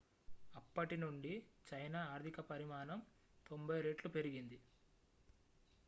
అప్పటి నుండి చైనా ఆర్థిక పరిమాణం 90 రెట్లు పెరిగింది